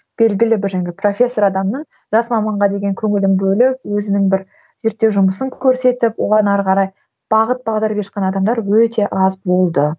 белгілі бір жаңағы профессор адамның жас маманға деген көңілін бөліп өзінің бір зеттеу жұмысын көрсетіп оған ары қарай бағыт бағдар беріп жатқан адамдар өте аз болды